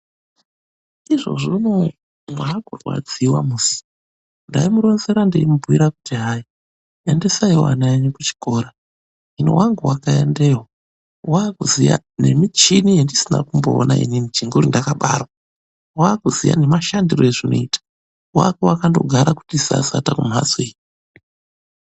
Izvozvi unouwu makurwadzi musi. Ndai muronzera ndaikubhuirai kuti hai endesai wo vana venyu kuchikora wangu akaendayo akuziva nemichini yandisina kumboona inini chinguri ndakabarwa wakuziya nemashandiro azvinoita wako akangogara kuti sasata kumhatso iyo .